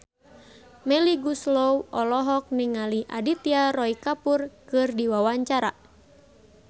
Melly Goeslaw olohok ningali Aditya Roy Kapoor keur diwawancara